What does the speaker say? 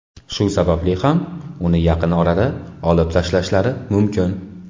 Shu sababli ham uni yaqin orada olib tashlashlari mumkin.